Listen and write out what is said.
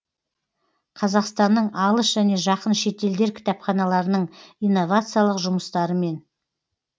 қазақстанның алыс және жақын шетелдер кітапханаларының инновациялық жұмыстарымен